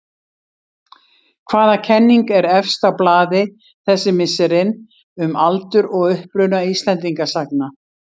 Hvaða kenning er efst á blaði þessi misserin um aldur og uppruna Íslendingasagna?